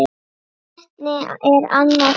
Hvernig er annað hægt?